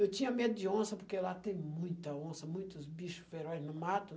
Eu tinha medo de onça, porque lá tem muita onça, muitos bicho feroz no mato.